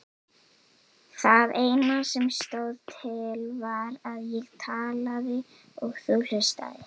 Það eina sem stóð til var að ég talaði og þú hlustaðir.